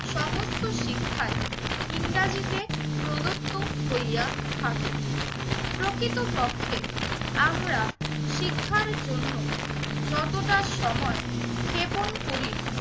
সমস্ত শিক্ষাই ইংরেজিতে প্রদত্ত হইয়া থাকে। প্রকৃতপক্ষে আমরা শিক্ষার জন্য যতটা সময় ক্ষেপন করি